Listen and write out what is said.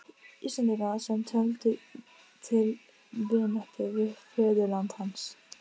Reiðin, sem griðasáttmáli einræðisherranna hafði vakið, var harmi blandin.